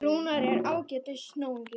Rúnar er ágætis náungi.